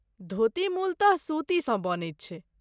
धोती मूलतः सूतीसँ बनैत छै।